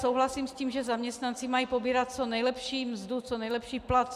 Souhlasím s tím, že zaměstnanci mají pobírat co nejlepší mzdu, co nejlepší plat.